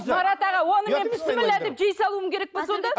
марат аға оны мен бісміллә деп жей салуым керек пе сонда